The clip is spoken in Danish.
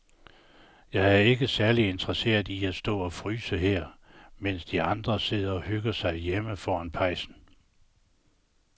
Jeg er ikke særlig interesseret i at stå og fryse her, mens de andre sidder og hygger sig derhjemme foran pejsen.